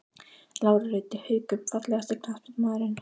Lára Rut í Haukum Fallegasti knattspyrnumaðurinn?